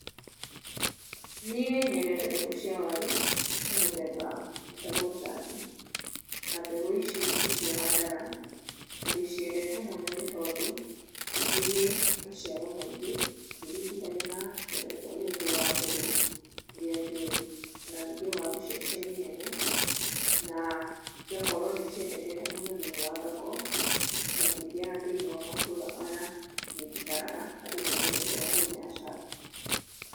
Niĩ nyendete mbegũ cia waru cia mũthemba wĩtagwo cangi, na mbegũ ici nĩcio handaga na ndĩciendete mũno nĩ tondũ nĩ irĩ maciaro maingĩ ngĩringithania na mĩthemba ĩrĩa ĩngĩ ya mbegũ ĩrĩa njũĩ o na ningĩ warũ ciacio nĩ nene na cigakorwo nĩ ciendekete mũno thĩiniĩ wa thoko, makĩria thĩiniĩ wa matũra maya niĩ njikaraga andũ nĩmendete waru ĩno ya cangi.